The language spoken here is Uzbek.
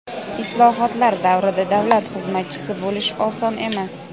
Islohotlar davrida davlat xizmatchisi bo‘lish oson emas.